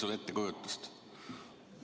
On sul ettekujutust?